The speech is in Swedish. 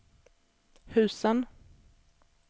husen